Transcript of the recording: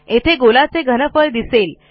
येथे गोलाचे घनफळ दिसेल